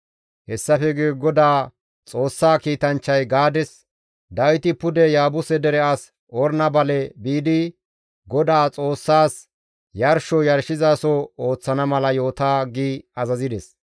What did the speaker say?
Hessafe guye Godaa Xoossaa kiitanchchay Gaades, «Dawiti pude Yaabuse dere as Orna bale biidi Godaa Xoossaas yarsho yarshizaso ooththana mala yoota» gi azazides.